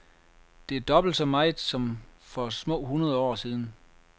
Det er dobbelt så meget som for små hundrede år siden.